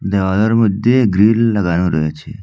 দেওয়ালের মধ্যে গ্রিল লাগানো রয়েছে।